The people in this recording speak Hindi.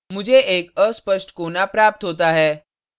मुझे एक अस्पष्ट कोना fuzzy corner प्राप्त होता है